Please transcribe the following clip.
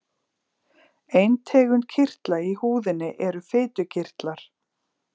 Ein tegund kirtla í húðinni eru fitukirtlar.